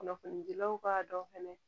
Kunnafonidilaw b'a dɔn fɛnɛ